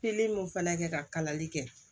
Pikiri m'o fana kɛ ka kalali kɛ